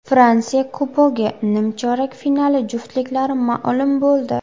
Fransiya Kubogi nimchorak finali juftliklari ma’lum bo‘ldi .